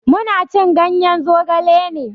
Mu na cin ganye zogale ne.